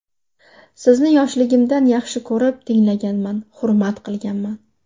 Sizni yoshligimdan yaxshi ko‘rib tinglaganman, hurmat qilganman.